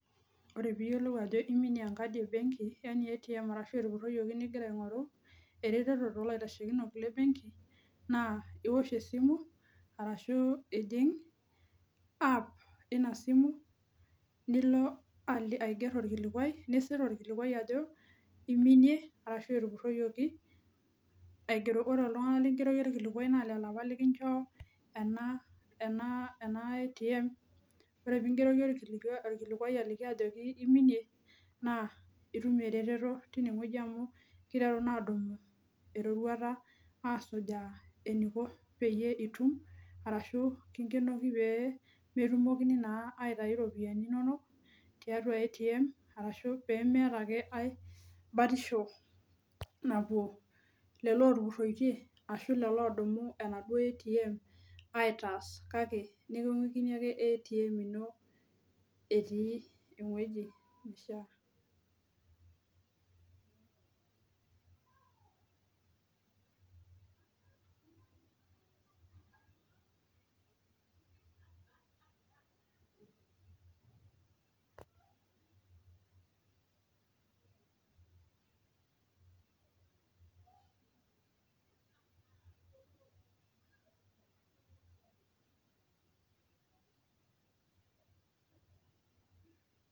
Ore peeyiolou ajo iminie enkadi e benki nilo aing'oru ereteto toolaitashekinok le benki naaa iwosh esimu ashuu ijing app ina simu nilo aiger orkilikua nisir orkilikua ajo eiminie ashuu etupuroyioki ena ATM ningeroki orkilikuai ajo iminie naa itum ereteto tine wueji amu keiteruni aadumu eroruata eneiko peyie itum ashuu kinge'enoki peyie metum ake aitayu iropiyiani inonok tiatua ATM ashu peemeeta ake ae batisho napuo lelo ootupuroitie ashua lelo oodumu ATM aitas kake niking'uikini ake ATM ino etii enishia